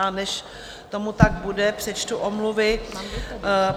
A než tomu tak bude, přečtu omluvy.